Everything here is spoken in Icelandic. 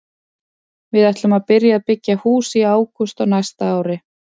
Við ætlum að byrja að byggja í hús í ágúst á næsta ári.